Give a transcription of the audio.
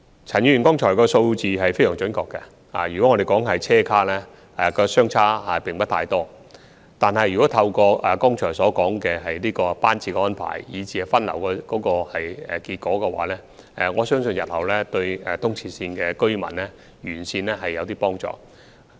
陳議員剛才提及的數字是非常準確的，以車廂數目來說，兩者相差並不太多，但透過剛才提到的班次安排和分流效果，我相信日後對東鐵線沿線居民會有些幫助。